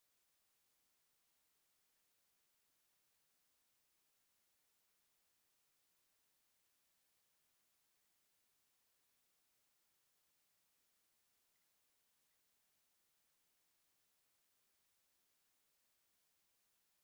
ኣብዚ ክልተ ነገራት ኣብ ንእሽቶ መደርደሪ እምኒ ኮፍ ኢሎም ይረኣዩ። ኣብ ታሕቲ ብሓጺን ዝተሰርሑ ገዛውትን ብሽክለታን ይረኣዩ። ቀሊል ነገር ክመስል ይኽእል እዩ ግን እዚ ባህላዊ ህይወትን ገጠራዊ ተስፋን እዩ።